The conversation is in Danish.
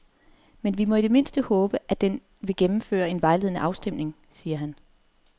Men vi må i det mindste håbe, at den vil gennemføre en vejledende afstemning, siger han.